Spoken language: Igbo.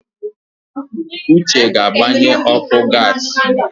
Uche ga-agbanye ọkụ gas.